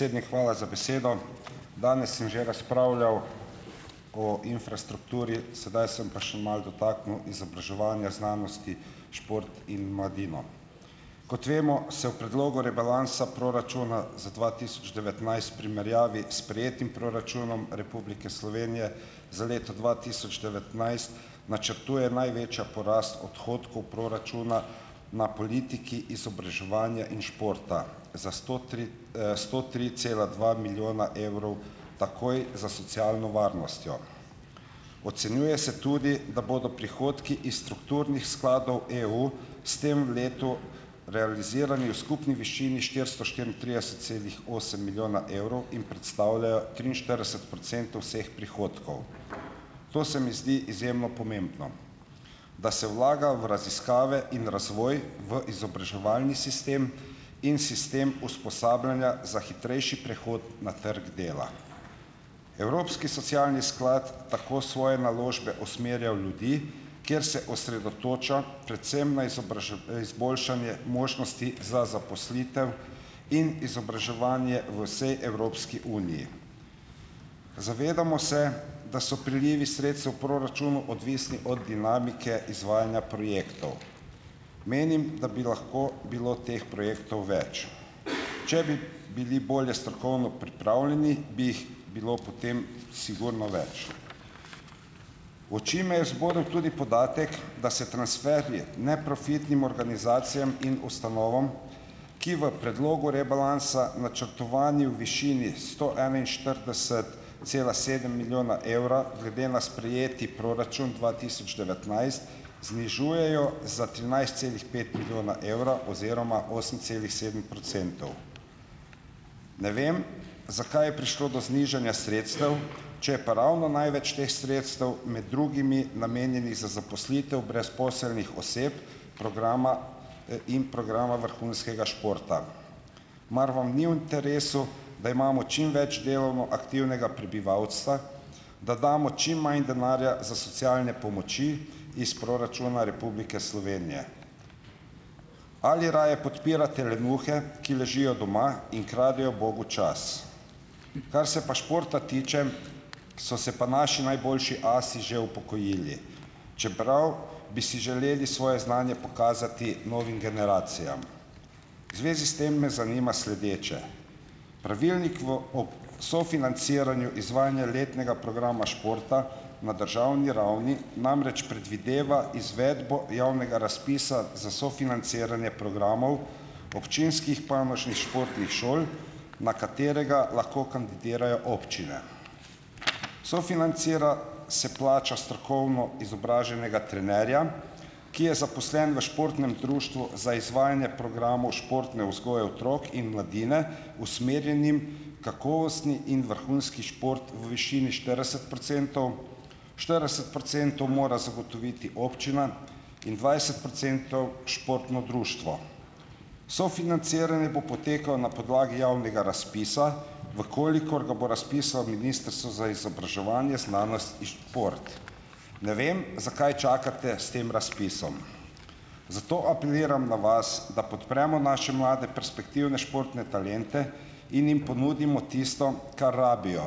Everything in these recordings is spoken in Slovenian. Predsednik, hvala za besedo. Danes sem že razpravljal o infrastrukturi, sedaj sem pa še malo dotaknil izobraževanja, znanosti, šport in mladino. Kot vemo, se v Predlogu rebalansa proračuna za dva tisoč devetnajst v primerjavi s sprejetim proračunom Republike Slovenije za leto dva tisoč devetnajst načrtuje največji porast odhodkov proračuna na politiki izobraževanja in športa, za sto tri, sto tri cela dva milijona evrov, takoj za socialno varnostjo. Ocenjuje se tudi, da bodo prihodki iz strukturnih skladov EU s tem v letu realizirani v skupni višini štiristo štiriintrideset celih osem milijona evrov in predstavljajo triinštirideset procentov vseh prihodkov. To se mi zdi izjemno pomembno, da se vlaga v raziskave in razvoj, v izobraževalni sistem in sistem usposabljanja za hitrejši prehod na trg dela. Evropski socialni sklad tako svoje naložbe usmerja v ljudi, kjer se osredotoča predvsem na izboljšanje možnosti za zaposlitev in izobraževanje v vsej Evropski uniji. Zavedamo se, da so prilivi sredstev v proračunu odvisni od dinamike izvajanja projektov. Menim, da bi lahko bilo teh projektov več, če bi bili bolje strokovno pripravljeni, bi jih bilo potem sigurno več. V oči me je zbodel tudi podatek, da se transferji neprofitnim organizacijam in ustanovam, ki v predlogu rebalansa, načrtovanje v višini sto enainštirideset cela sedem milijona evra, glede na sprejeti proračun dva tisoč devetnajst znižujejo za trinajst celih pet milijona evra oziroma osem celih sedem procentov. Ne vem, zakaj je prišlo do znižanja sredstev, če je pa ravno največ teh sredstev, med drugimi, namenjenih za zaposlitev brezposelnih oseb programa, in programa vrhunskega športa. Mar vam ni v interesu, da imamo čim več delovno aktivnega prebivalstva? Da damo čim manj denarja za socialne pomoči iz proračuna Republike Slovenije? Ali raje podpirate lenuhe, ki ležijo doma in kradejo bogu čas? Kar se pa športa tiče, so se pa naši najboljši asi že upokojili, čeprav bi si želeli svoje znanje pokazati novim generacijam. V zvezi s tem me zanima sledeče; pravilnik v, o sofinanciranju izvajanja letnega programa športa na državni ravni namreč predvideva izvedbo javnega razpisa za sofinanciranje programov občinskih panožnih športnih šol, na katerega lahko kandidirajo občine. Sofinancira, se plača strokovno izobraženega trenerja, ki je zaposlen v športnem društvu za izvajanje programov športne vzgoje otrok in mladine, usmerjenim kakovostni in vrhunski šport v višini štirideset procentov, štirideset procentov mora zagotoviti občina in dvajset procentov športno društvo. Sofinanciranje bo potekalo na podlagi javnega razpisa, v kolikor ga bo razpisalo Ministrstvo za izobraževanje, znanost in šport. Ne vem, zakaj čakate s tem razpisom, zato apeliram na vas, da podpremo naše mlade perspektivne športne talente in jim ponudimo tisto, kar rabijo,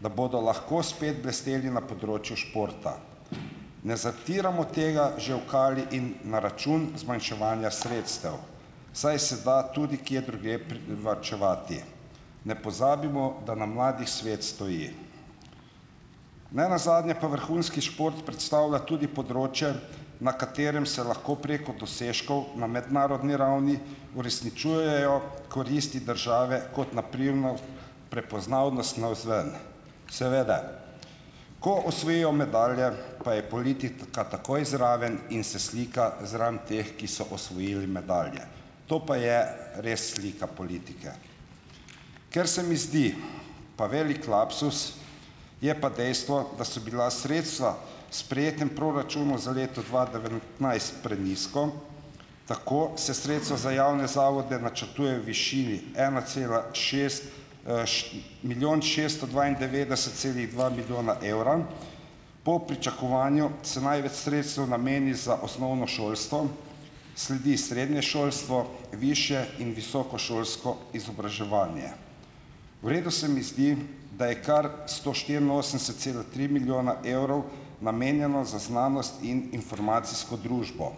da bodo lahko spet blesteli na področju športa. Ne zatiramo tega že v kali in na račun zmanjševanja sredstev, saj se da tudi kje drugje privarčevati. Ne pozabimo, da na mladih svet stoji. Nenazadnje pa vrhunski šport predstavlja tudi področje, na katerem se lahko preko dosežkov na mednarodni ravni uresničujejo koristi države, kot na primer prepoznavnost navzven. Seveda, ko osvojijo medalje, pa je politika takoj zraven in se slika zraven teh, ki so osvojili medalje. To pa je res slika politike. Ker se mi zdi pa velik lapsus, je pa dejstvo, da so bila sredstva v sprejetem proračunu za leto dva devetnajst prenizko, tako se sredstva za javne zavode načrtujejo v višini ena cela šest, milijon šesto dvaindevetdeset celih dva milijona evra. Po pričakovanju se največ sredstev nameni za osnovno šolstvo, sledi srednje šolstvo, višje in visokošolsko izobraževanje. V redu se mi zdi, da je kar sto štiriinosemdeset cela tri milijona evrov namenjeno za znanost in informacijsko družbo.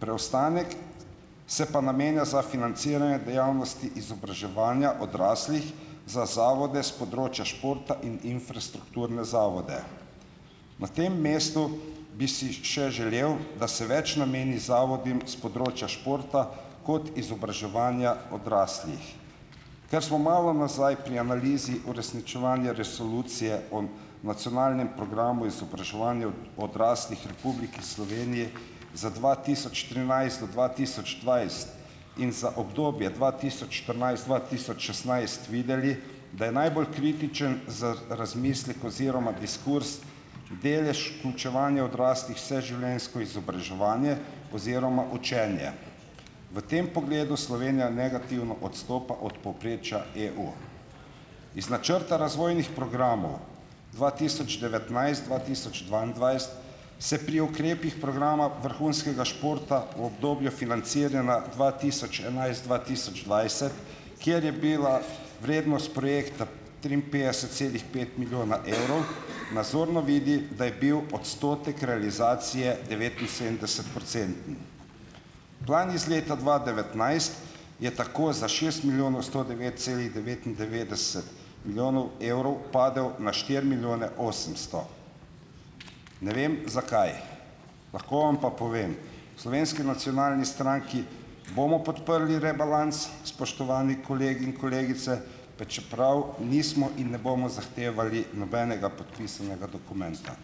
Preostanek se pa namenja za financiranje dejavnosti izobraževanja odraslih za zavode s področja športa in infrastrukturne zavode. Na tem mestu bi si še želel, da se več nameni zavodom s področja športa kot izobraževanja odraslih. Ker smo malo nazaj pri analizi uresničevanja resolucije o nacionalnem programu izobraževanja odraslih v Republiki Sloveniji za dva tisoč trinajst do dva tisoč dvajset in za obdobje dva tisoč štirinajst-dva tisoč šestnajst videli, da je najbolj kritičen za razmislek oziroma diskurz delež vključevanja odraslih v vseživljenjsko izobraževanje oziroma učenje. V tem pogledu Slovenija negativno odstopa od povprečja EU. Iz načrta razvojnih programov dva tisoč devetnajst-dva tisoč dvaindvajset se pri ukrepih programa vrhunskega športa v obdobju financiranja dva tisoč enajst-dva tisoč dvajset, kjer je bila vrednost projekta triinpetdeset celih pet milijona evrov, nazorno vidi, da je bil odstotek realizacije devetinsedemdeset procenten. Plan iz leta dva devetnajst je tako za šest milijonov sto devet celih devetindevetdeset milijonov evrov padel na štiri milijone osemsto. Ne vem, zakaj. Lahko vam pa povem, v Slovenski nacionalni stranki bomo podprli rebalans, spoštovani kolegi in kolegice, pa čeprav nismo in ne bomo zahtevali nobenega podpisanega dokumenta.